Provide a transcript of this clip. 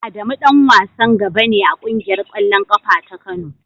Adamu dan wasan gaba ne a kungiyar kwallon kafa ta Kano.